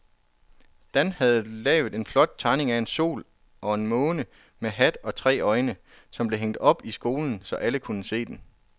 Dan havde lavet en flot tegning af en sol og en måne med hat og tre øjne, som blev hængt op i skolen, så alle kunne se den.